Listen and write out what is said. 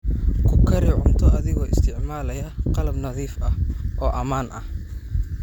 Ku kari cunto adigoo isticmaalaya qalab nadiif ah oo ammaan ah.